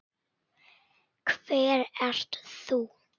Hver ert þú?